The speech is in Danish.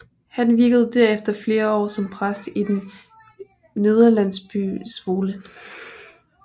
Han virkede derefter flere år som præst i den nederlandsky by Zwolle